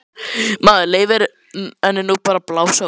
Maður leyfir henni nú bara að blása út.